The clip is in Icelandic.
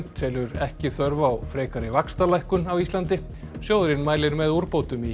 telur ekki þörf á frekari vaxtalækkun á Íslandi sjóðurinn mælir með úrbótum í